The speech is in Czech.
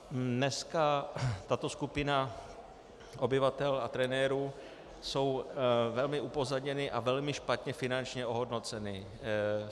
Dneska tato skupina obyvatel a trenérů je velmi upozaděna a velmi špatně finančně ohodnocena.